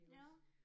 Ja